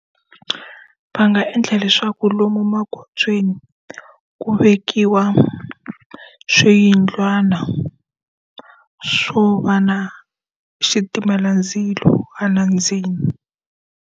Va nga endla leswaku lomu magondzweni ku vekiwa swiyindlwana swo va na xitimela ndzilo hala ndzeni.